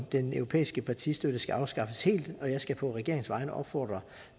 den europæiske partistøtte skal afskaffes helt og jeg skal på regeringens vegne opfordre